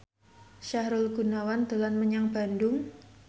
Sahrul Gunawan dolan menyang Bandung